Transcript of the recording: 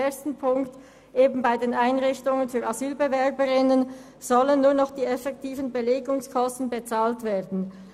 Erstens sollen bei den Einrichtungen für Asylbewerberinnen und Asylbewerber nur noch die effektiven Belegungskosten bezahlt werden.